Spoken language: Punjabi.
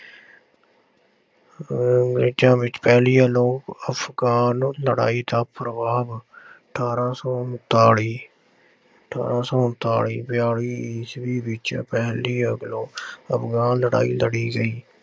ਅਹ ਅੰਗਰੇਜ਼ਾਂ ਵਿੱਚ ਪਹਿਲੀ ਅਫਗਾਨ ਲੜਾਈ ਦਾ ਪ੍ਰਭਾਵ ਅਠਾਰਾਂ ਸੌ ਉਣਤਾਲੀ, ਅਠਾਰਾਂ ਸੌ ਉਣਤਾਲੀ, ਬਿਆਲੀ ਈਸਵੀ ਵਿੱਚ ਪਹਿਲੀ ਅਫਗਾਨ ਲੜਾਈ ਲੜੀ ਗਈ।